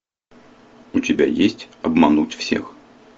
у тебя есть обмануть всех